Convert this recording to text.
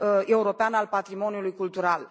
european al patrimoniului cultural